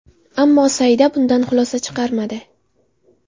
Ammo Saida bundan xulosa chiqarmadi.